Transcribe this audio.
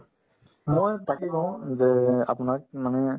মই তাকে কওঁ যে আপোনাক মানে